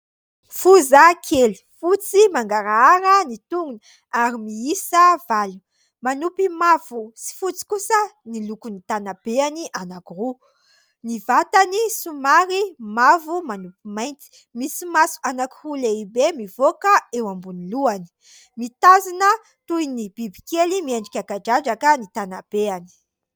Foza kely, fotsy mangarahara ny tongony ary miisa valo, manompy mavo sy fotsy kosa ny lokon'ny tanabehany anankiroa, ny vatany somary mavo manompy mainty ; misy maso anankiroa lehibe mivoaka eo ambony lohany, mitazona toy ny biby kely miendrika kadradraka ny tanabehany.